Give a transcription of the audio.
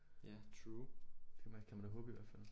Ja true det kan man da håbe i hvert fald